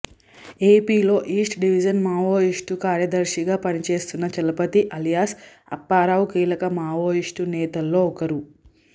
ఏపీలో east division Maoist కార్యదర్శిగా పనిచేస్తున్న చలపతి అలియాస్ అప్పారావు కీలక మావోయిస్టు నేతల్లో ఒకరు